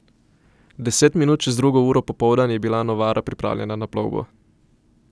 Deset minut čez drugo uro popoldan je bila Novara pripravljena na plovbo.